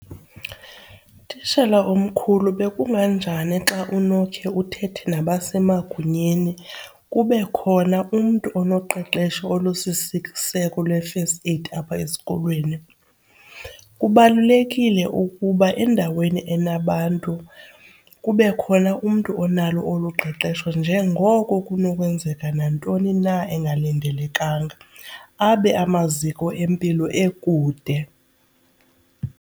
Tishala omkhulu bekunganjani xa unokhe uthethe nabasemagunyeni kube khona umntu onoqeqesho olusisiseko lwe-first aid apha esikolweni? Kubalulekile ukuba endaweni enabantu kube khona umntu onalo olu qeqesho njengoko kunokwenzeka nantoni na engalindelekanga abe amaziko empilo ekude.